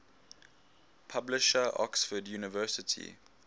publisher oxford university